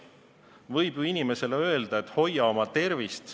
Võib ju inimesele öelda, et hoia oma tervist.